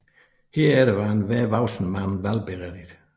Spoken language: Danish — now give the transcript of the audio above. Herefter var enhver voksen mand valgberettiget